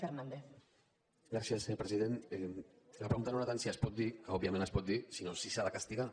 senyor president la pregunta no era tant si es pot dir que òbviament es pot dir sinó si s’ha de castigar